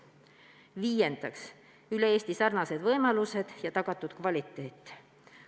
Viiendaks, üle Eesti sarnased võimalused ja tagatud kvaliteet.